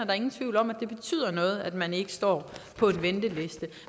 er ingen tvivl om at det betyder noget at man ikke står på venteliste